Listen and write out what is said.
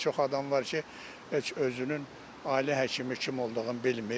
Çox adam var ki, heç özünün ailə həkimi kim olduğunu bilmir.